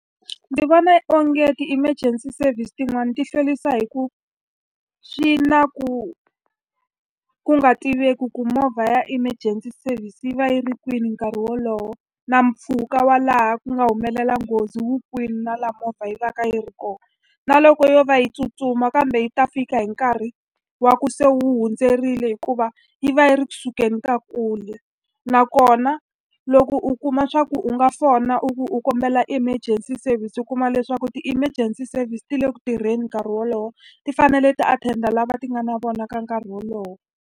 Ndzi vona onge ti-emergency services tin'wani ti hlwerisa hi ku va swi na ku ku nga tiveki ku movha ya emergency service yi va yi ri kwini nkarhi wolowo, na mpfhuka wa laha ku nga humelela nghozi wu kwini, na laha movha yi va ka yi ri kona. Na loko yo va yi tsutsuma kambe yi ta fika hi nkarhi wa ku se u hundzeriwile hikuva yi va yi ri ku sukeleni ka kule. Nakona loko u kuma leswaku u nga fona u ku u kombela emergency service u kuma leswaku ti-emergency services ti le ku tirheni nkarhi wolowo, ti fanele ti-attend-a lava ti nga na vona ka nkarhi wolowo.